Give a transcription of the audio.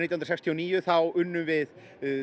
hundruð sextíu og níu unnum við